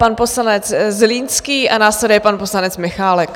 Pan poslanec Zlínský a následuje pan poslanec Michálek.